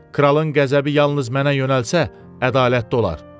Kralın qəzəbi yalnız mənə yönəlsə, ədalətli olar.